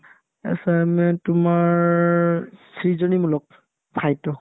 assignment তোমাৰ সৃজনীমূলক সাহিত্য